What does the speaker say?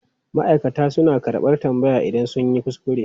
Ma'aikata suna karɓar tambaya idan sun yi kuskure.